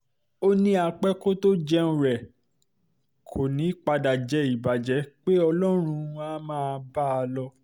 ó ní a-pé-kò-tóo-jẹun rẹ̀ kó um padà jẹ́ ìbàjẹ́ pé ọlọ́run á máa um bá a lọ